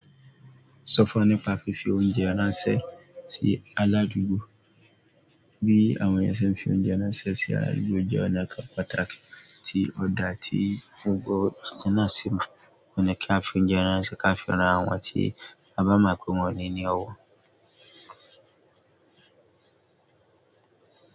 Sọ fún wa nípa fífi oúnjẹ ránṣẹ́ sí aládùúgbò. Bí àwọn ènìyàn ṣe ń fi oúnjẹ ránṣẹ́ sí aládùúgbò jẹ́ ọ̀nà kan pàtàkì tí ọ̀dà ti gbogbó eeyan náà si mo. Òun ní kí a fi oúnjẹ ránṣẹ́ ká fi ran àwọn tí a bá mọ̀ pé wọ́n ni i ni ọwọ́.